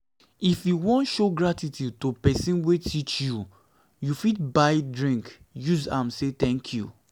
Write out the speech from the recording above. if you won show gratitude to persin wey teach you you fit buy drink use say thank you